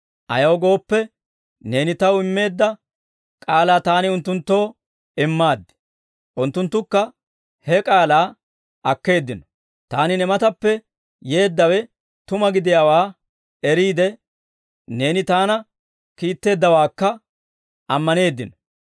Ayaw gooppe, neeni Taw immeedda k'aalaa Taani unttunttoo immaaddi; unttunttukka he k'aalaa akkeeddino. Taani ne matappe yeeddawe tuma gidiyaawaa eriide Neeni Taana kiitteeddawaakka ammaneeddino.